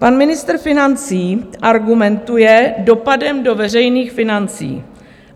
Pan ministr financí argumentuje dopadem do veřejných financí.